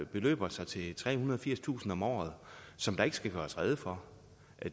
beløber sig til trehundrede og firstusind kroner om året som der ikke skal gøres rede for